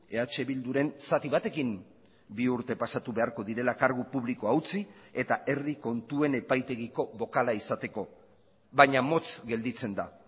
eh bilduren zati batekin bi urte pasatu beharko direla kargu publikoa utzi eta herri kontuen epaitegiko bokala izateko baina motz gelditzen da